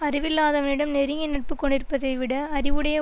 அறிவில்லாதவனிடம் நெருங்கிய நட்பு கொண்டிருப்பதை விட அறிவுடைய